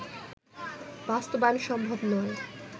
বাস্তবায়ন সম্ভব নয়